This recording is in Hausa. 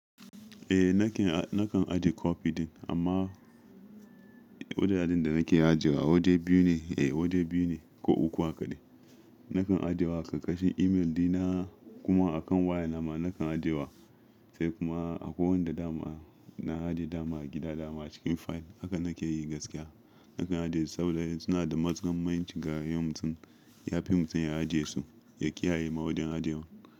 Eh nakan, nakan aje copy din amma wajajen da nake ajiyewa waje biyu ne. Eh waje biyu ne ko uku hakadai. Nakan aje wa a ƙarƙashin email dina kuma akan waya nama nakan aje wa sai kuma akwai wanda dama na aje dama a gida dama a cikin file haka nake yi gaskiya. Nakan ajiye su saboda suna da matukar mahimmanci ga rayuwan mutum, ya fi mutum ya ajiye su, ya kiyaye ma wajen ajewar.